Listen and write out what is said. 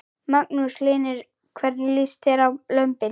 Magnús Hlynur: Hvernig líst þér á lömbin?